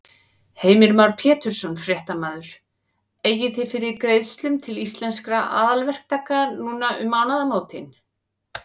Heimir Már Pétursson, fréttamaður: Eigið þið fyrir greiðslum til Íslenskra aðalverktaka núna um mánaðamótin?